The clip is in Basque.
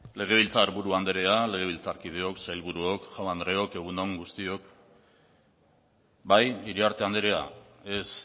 legebiltzar buru andrea legebiltzarkideok sailburuok jaun andreok egun on guztioi bai iriarte andrea ez